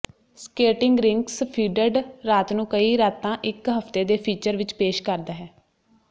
skating rinks ਫੀਡਡ ਰਾਤ ਨੂੰ ਕਈ ਰਾਤਾਂ ਇੱਕ ਹਫ਼ਤੇ ਦੇ ਫੀਚਰ ਵਿੱਚ ਪੇਸ਼ ਕਰਦਾ ਹੈ